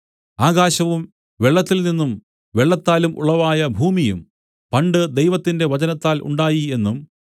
ആകാശവും വെള്ളത്തിൽനിന്നും വെള്ളത്താലും ഉളവായ ഭൂമിയും പണ്ട് ദൈവത്തിന്റെ വചനത്താൽ ഉണ്ടായി എന്നും